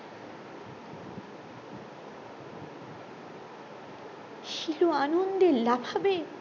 শিলু আনন্দে লাফাবে